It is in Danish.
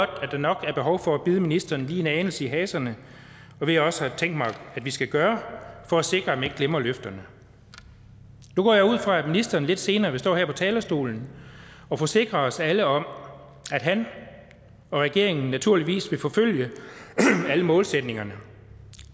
at der nok er behov for at bide ministeren lige en anelse i haserne hvad jeg også har tænkt mig vi skal gøre for at sikre at man ikke glemmer løfterne nu går jeg ud fra at ministeren lidt senere vil stå her på talerstolen og forsikre os alle om at han og regeringen naturligvis vil forfølge alle målsætningerne